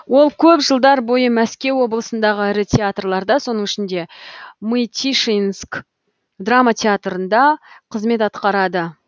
ол көп жылдар бойы мәскеу облысындағы ірі театрларда соның ішінде мытишинск драма театрында қызмет атқарады